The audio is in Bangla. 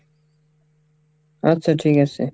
আচ্ছা ঠিক আসে।